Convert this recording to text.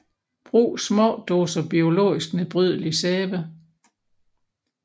Brug små doser biologisk nedbrydelig sæbe